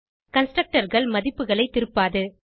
Constructorகள் மதிப்புகளை திருப்பாது